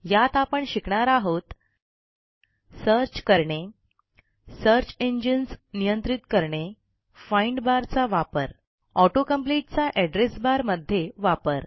यात आपण शिकणार आहोत सर्च करणे सर्च इंजिन्स नियंत्रित करणे फाइंड बार चा वापर auto कंप्लीट चा एड्रेस बार मध्ये वापर